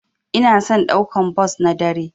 Ina son daukan bos na dare.